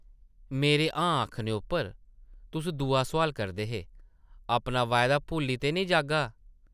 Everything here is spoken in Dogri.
मेरे ‘हां’ आखने उप्पर तुस दूआ सोआल करदे हे, ‘‘अपना वायदा भुल्ली ते नेईं जाह्गा?’’